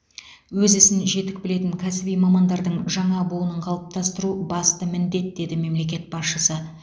өз ісін жетік білетін кәсіби мамандардың жаңа буынын қалыптастыру басты міндет деді мемлекет басшысы